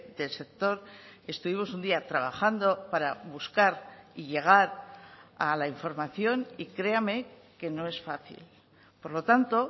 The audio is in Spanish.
del sector estuvimos un día trabajando para buscar y llegar a la información y créame que no es fácil por lo tanto